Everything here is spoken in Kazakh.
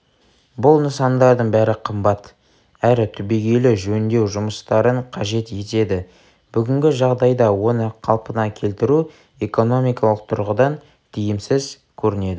бұл нысандардың бәрі қымбат әрі түбегейлі жөндеу жұмыстарын қажет етеді бүгінгі жағдайда оны қалпына келтіру экономикалық тұрғыдан тиімсіз көрінеді